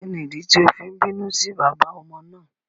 Kíni ìdí tí o fi n bínú sí bàbá ọmọ náà?